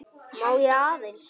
Má ég aðeins!